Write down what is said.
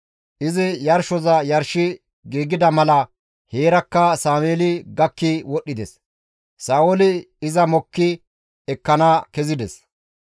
Izi yarshoza yarshi giigida mala heerakka Sameeli gakki wodhdhides; Sa7ooli iza mokki ekkana kezides.